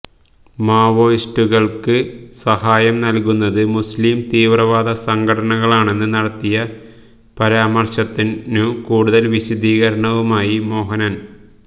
മാവോയിസ്റ്റുകൾക്ക് സഹായം നൽകുന്നത് മുസ്ലീം തീവ്രവാദ സംഘടനകളാണെന്ന് നടത്തിയ പരാമര്ശത്തിനു കൂടുതല് വിശദീകരണവുമായി മോഹനൻ